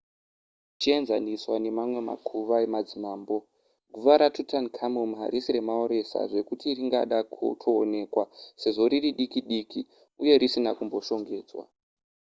zvichienzaniswa nemamwe makuva emadzimambo guva ratutankhamum harisi remaoresa zvekuti ringada kutoonekwa sezvo riri diki diki uye risina kumboshongedzwa